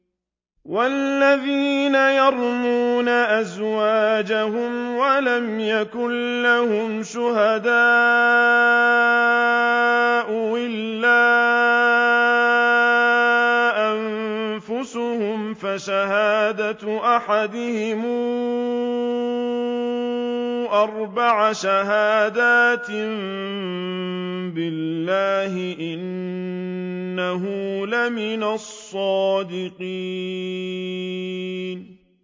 وَالَّذِينَ يَرْمُونَ أَزْوَاجَهُمْ وَلَمْ يَكُن لَّهُمْ شُهَدَاءُ إِلَّا أَنفُسُهُمْ فَشَهَادَةُ أَحَدِهِمْ أَرْبَعُ شَهَادَاتٍ بِاللَّهِ ۙ إِنَّهُ لَمِنَ الصَّادِقِينَ